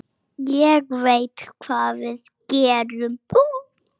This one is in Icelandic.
Ég veit hvað við gerum!